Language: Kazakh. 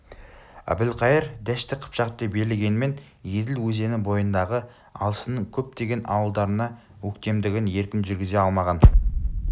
әбілқайыр дәшті қыпшақты билегенмен еділ өзені бойындағы алшынның көптеген ауылдарына өктемдігін еркін жүргізе алмаған